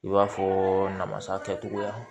I b'a fɔ namasa kɛcogoya